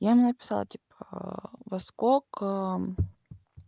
я им написала типа во сколько